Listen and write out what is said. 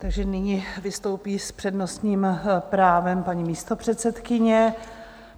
Takže nyní vystoupí s přednostním právem paní místopředsedkyně.